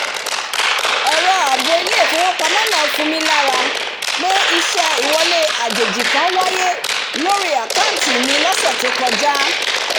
ẹ̀rọ ààbò ilé-ìfowópamọ́ náà fun mí lára pé ìṣe ìwọlé àjèjì kan wáyé lórí àkántì mi lọsẹ̀ tó kọjá